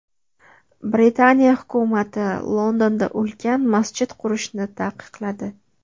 Britaniya hukumati Londonda ulkan masjid qurishni taqiqladi.